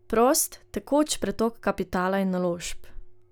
Prost, tekoč pretok kapitala in naložb.